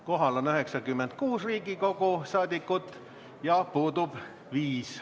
Kohal on 96 Riigikogu liiget ja puudub 5.